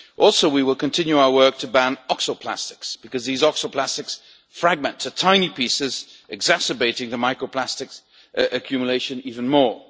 Also, we will continue our work to ban oxo plastics because these oxo plastics fragment to tiny pieces, exacerbating the micro plastics accumulation even more.